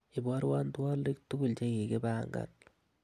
iborwon twolik tugul chegigipang'an